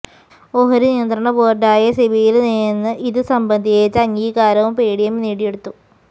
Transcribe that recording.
ഓഹരി നിയന്ത്രണ ബോര്ഡായ സെബിയില് നിന്ന് ഇത് സംബന്ധിച്ച അംഗീകാരവും പേടിഎം നേടിയെടുത്തു